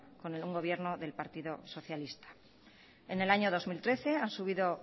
con un gobierno del partido socialista en el año dos mil trece han subido